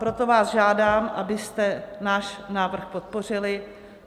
Proto vás žádám, abyste náš návrh podpořili.